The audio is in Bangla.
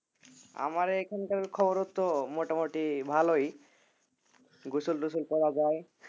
আমার এখানকার খবর তো মোটামুটি ভালোই গোসল টোসল করা যায়